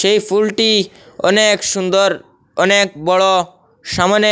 এই ফুলটি অনেক সুন্দর অনেক বড় সামোনে --